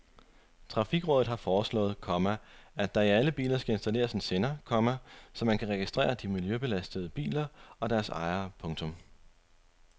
Trafikrådet har foreslået, komma at der i alle biler skal installeres en sender, komma så man kan registrere de miljøbelastende biler og deres ejere. punktum